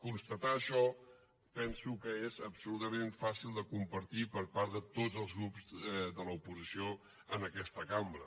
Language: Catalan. constatar això penso que és absolutament fàcil de compartir per part de tots els grups de l’oposició en aquesta cambra